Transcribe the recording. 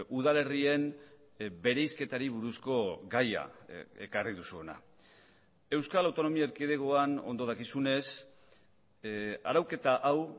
udalerrien bereizketari buruzko gaia ekarri duzu hona euskal autonomia erkidegoan ondo dakizunez arauketa hau